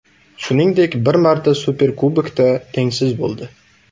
Shuningdek, bir marta Superkubokda tengsiz bo‘ldi.